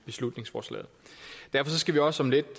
beslutningsforslaget derfor skal vi også om lidt